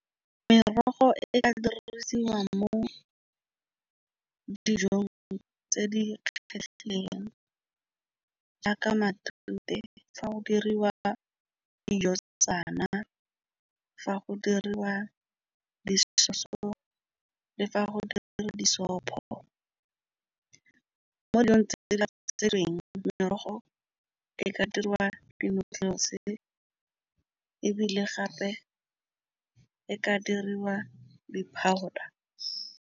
Merogo e ka dirisiwang mo dijong tse di oketsegileng jaaka matute, fa go diriwa dijo tshetsana fa go diriwa di so le fa go dira di sopho. Mo dilong tse dintsi le sešweng merogo e ka dirwa di-noodles ebile gape e ka diriwa di-powder.